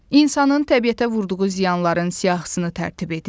İnsanın təbiətə vurduğu ziyanların siyahısını tərtib edin.